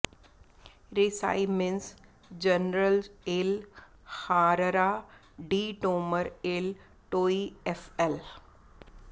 ਰੀਸਾਈਮਿਨਸ generals ਏ ਲ ਹਾਰਰਾ ਡੀ ਟੋਮਰ ਏੱਲ ਟੋਈਐਫਐਲ